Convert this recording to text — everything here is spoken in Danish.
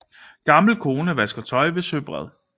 Gammel kone vasker tøj ved søbred